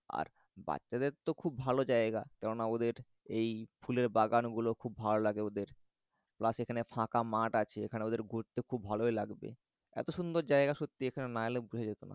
আর বাচ্চাদের তো খুব ভালো জায়গা। কেননা ওদের এই ফুলের বাগানগুলো খুব ভালো লাগে ওদের। plus এখানে ফাঁকা মাঠ আছে। এখানে ওদের ঘুরতে খুব ভালই লাগবে। এত সুন্দর জায়গা মানে এখানে না এলে বোঝা যেতো না।